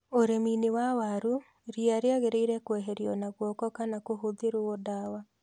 Ũrĩmi-inĩ wa waru, ria rĩagĩrĩire kweherio na guoko kana kũhũthĩrũo ndawa.